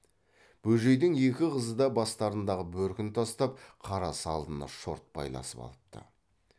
бөжейдің екі қызы да бастарындағы бөркін тастап қара салыны шорт байласып алыпты